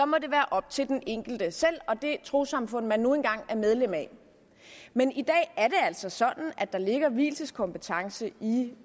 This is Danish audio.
må det være op til den enkelte selv og det trossamfund man nu engang er medlem af men i dag er der altså sådan at der ligger vielseskompetence i